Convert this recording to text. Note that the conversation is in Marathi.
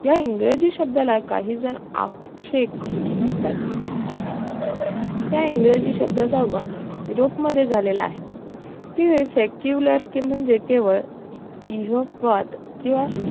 या इंग्रजी शब्दाला काहीजण आक्षेप घेतात त्या इंग्रजी शब्दाचा वस yurop मध्ये झालेला आहे ती secular कि म्हणजे केवळ इहपवाद किंवा